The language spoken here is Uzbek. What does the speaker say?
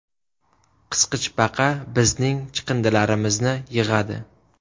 Qisqichbaqa bizning chiqindilarimizni yig‘adi.